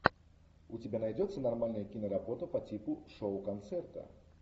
у тебя найдется нормальная киноработа по типу шоу концерта